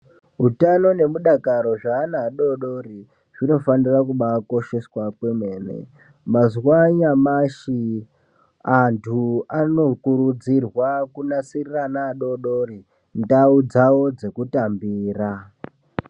Utano nemudakaro zveanan adodori zvinofanira kubaa kosheswa kwemene mazuwa anyamashi antu anokurudzirwa kunasirira ana adodori ndau dzekutambira.